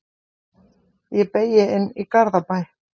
Ég beygi inn í Garðabæ.